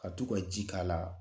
Ka to ka ji k' a la